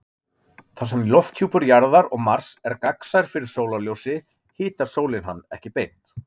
Þar sem lofthjúpur Jarðar og Mars er gagnsær fyrir sólarljósi hitar sólin hann ekki beint.